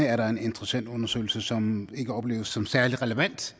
er der en interessentundersøgelse som ikke opleves som særlig relevant